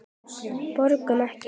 Borgum Ekki!